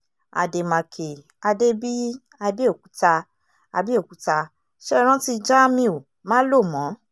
àdèmàkè adébíyí àbẹ̀òkúta àbẹ̀òkúta ṣe é rántí jamiu málòmọ́